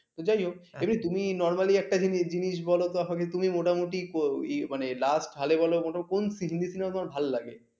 যাই হোক তুমি normally একটা জিনিস বলো তো আমাকে তুমি মোটামুটি মানে last হলে বল মোটামুটি কোন হিন্দি cinema ভালো লাগে?